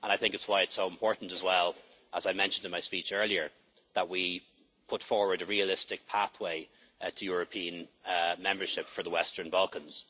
That's why it is so important as well, as I mentioned in my speech earlier, that we put forward a realistic pathway to European membership for the Western Balkans.